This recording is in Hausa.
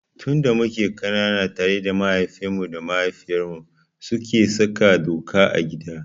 Tun da muke ƙanana tare mahaifinmu da mahaifiyartmu suke saka doka a gida.